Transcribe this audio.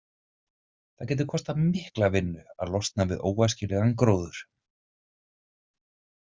Það getur kostað mikla vinnu að losna við óæskilegan gróður.